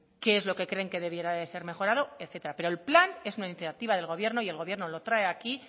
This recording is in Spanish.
qué es lo que creen que debiera de ser mejorado etcétera pero el plan es una iniciativa del gobierno y el gobierno lo trae aquí